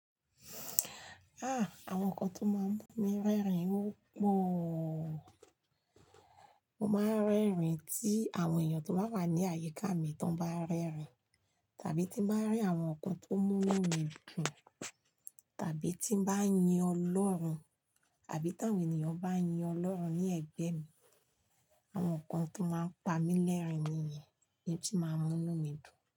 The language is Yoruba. Ah! Àwọn nǹkan tó máa ń mú mi rẹ́rìn ọ́ pọ̀o. Mo máa ń rẹ́rìn tí àwọn èèyàn tó bá wà ní àyíká mi tán bá ń rẹ́rìn, tàbí tíń bá ń rí àwọn nǹkan tó mú mímu dùn, tàbí tíń bá ń yin Ọlọ́run, àbí tàwọn ènìyàn bá ń yin Ọlọ́run ní ẹ̀gbẹ́ mi. Àwọn nǹkan tó máa ń pa mi lẹ́rìn nìyen n ti máa ń mú inu mi dùn.